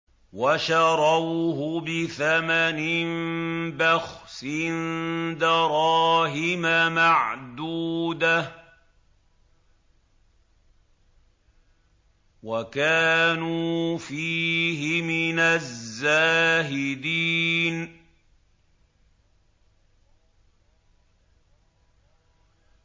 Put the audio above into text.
وَشَرَوْهُ بِثَمَنٍ بَخْسٍ دَرَاهِمَ مَعْدُودَةٍ وَكَانُوا فِيهِ مِنَ الزَّاهِدِينَ